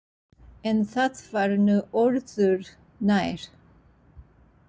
En það var nú öðru nær.